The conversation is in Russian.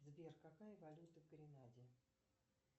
сбер какая валюта в гренаде